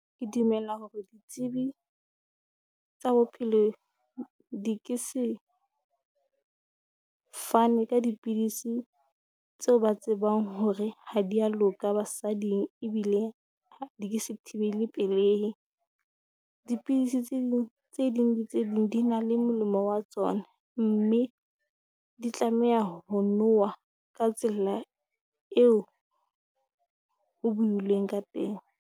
Ke dumela hore ditsebi tsa bophelo di ke se fane ka dipidisi tseo ba tsebang hore ha di ya loka basading. Ebile di ke se thibele pelehi, dipidisi tse ding tse ding le tse ding di na le molemo wa tsona, mme di tlameha ho nowa ka tsela eo ho builweng ka teng.